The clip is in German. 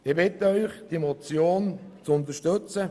Ich bitte Sie, die Motion zu unterstützen.